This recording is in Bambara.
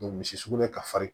misi sugunɛ ka farin